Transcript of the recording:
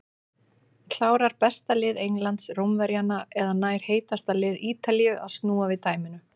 Klárar besta lið Englands Rómverjana eða nær heitasta lið Ítalíu að snúa við dæminu?